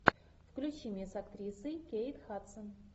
включи мне с актрисой кейт хадсон